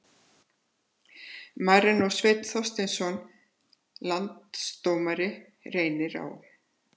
Marinó Steinn Þorsteinsson Landsdómari Reynir Á